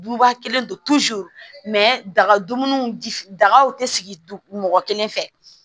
Buba kelen don daga dumuni dagaw te sigi mɔgɔ kelen fɛ